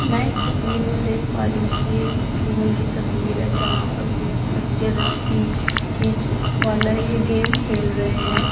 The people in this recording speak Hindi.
मैं इस तस्वीर में देख पा रही हूं कि एक स्कूल की तस्वीर है जहां पर कोई पीछे रस्सी खींच वाला ये गेम खेल रहे हैं।